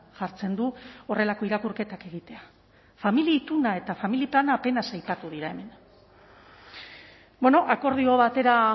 jartzen du horrelako irakurketak egitea familia ituna eta familia plana apenas aipatu dira hemen bueno akordio batera